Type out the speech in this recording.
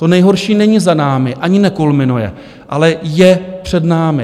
To nejhorší není za námi, ani nekulminuje, ale je před námi.